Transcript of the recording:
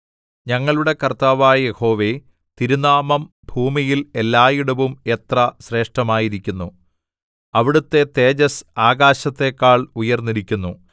ഞങ്ങളുടെ കർത്താവായ യഹോവേ തിരുനാമം ഭൂമിയിൽ എല്ലായിടവും എത്ര ശ്രേഷ്ഠമായിരിക്കുന്നു അവിടുത്തെ തേജസ്സ് ആകാശത്തെക്കാൾ ഉയർന്നിരിക്കുന്നു